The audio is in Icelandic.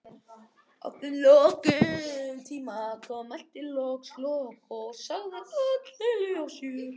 Að þeim tíma loknum mælti Loki loks og sagði öll deili á sér.